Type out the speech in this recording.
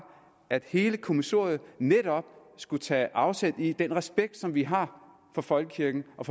at hele kommissoriet netop skulle tage afsæt i den respekt som vi har for folkekirken og